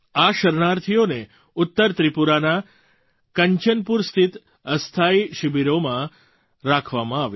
આ શરણાર્થીઓને ઉત્તર ત્રિપુરાના કંચનપુર સ્થિત અસ્થાયી શિબિરોમાં રાખવામાં આવ્યા